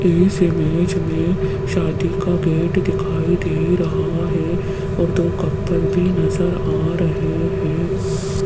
इस इमेज में शादी का गेट दिखाई दे रहा है और दो कपल भी नजर आ रहे हैं।